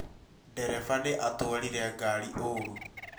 Ndereba nĩatwarire ngaari ũũru